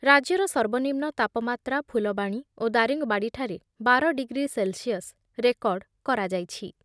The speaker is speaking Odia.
ରାଜ୍ୟର ସର୍ବନିମ୍ନ ତାପମାତ୍ରା ଫୁଲବାଣୀ ଓ ଦାରିଙ୍ଗବାଡ଼ିଠାରେ ବାର ଡିଗ୍ରୀ ସେଲ୍‌ସିୟସ୍ ରେକର୍ଡ କରାଯାଇଛି ।